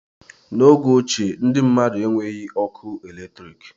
N'oge ochie, ndị mmmadụ enweghị ọkụ eletrik